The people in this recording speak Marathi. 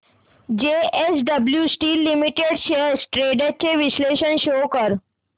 JSW steel limited shares trends चे विश्लेषण शो कर